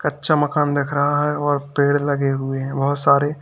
कच्चा मकान दिख रहा है और पेड़ लगे हुए हैं बहोत सारे--